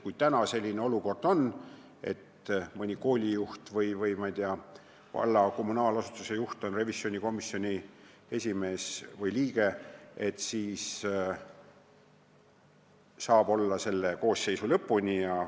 Kui praegu on selline olukord, et mõni koolijuht või, ma ei tea, valla kommunaalasutuse juht on revisjonikomisjoni esimees või liige, siis saab ta seda olla selle koosseisu lõpuni.